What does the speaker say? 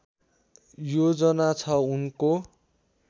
योजना छ उनको